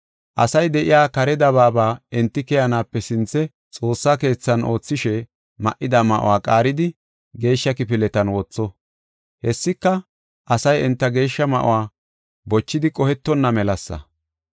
Asay de7iya kare dabaaba enti keyanaape sinthe Xoossa keethan oothishe ma7ida ma7uwa qaaridi, geeshsha kifiletan wotho. Hessika, asay enta geeshsha ma7uwa bochidi qohetonna melasa.